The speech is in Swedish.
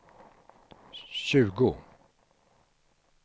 tjugo